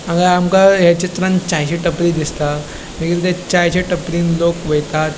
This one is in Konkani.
हांगा आमका या चित्रांत चायची टपरी दिसता मागीर त्या चायच्या टपरिन लोक वयतात.